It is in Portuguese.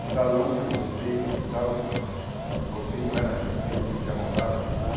O salão que eu voltei do hospital, quando voltei não era mais meu, tive que arrombar para entrar.